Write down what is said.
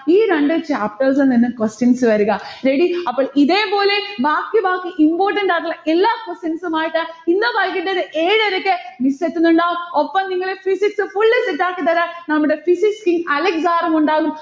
ഈ രണ്ടു chapters ൽനിന്നും questions വരുക ready അപ്പൊ ഇതേപോലെ ബാക്കി ബാക്കി important ആയിട്ടുള്ള എല്ലാ questions ഉമായിട്ട് ഇന്ന് വൈകിട്ടൊരു ഏഴരയ്ക്ക് miss എത്തുന്നുണ്ടാവും ഒപ്പം നിങ്ങൾ physics full set ആക്കിത്തരാൻ നമ്മടെ physics team അലക്സ് sir ഉമുണ്ടാകും.